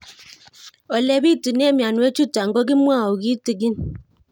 Ole pitune mionwek chutok ko kimwau kitig'ín